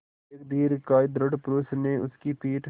एक दीर्घकाय दृढ़ पुरूष ने उसकी पीठ